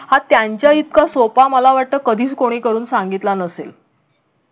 हा त्यांचा इतका सोपा मला वाटत कधीच कोणी करून सांगितला नसेल.